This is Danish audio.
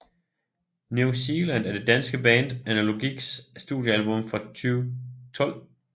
New Seeland er det danske band Analogiks studiealbum fra 2012